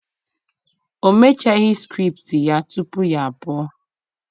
o mechaghi script ya tupu ya apu.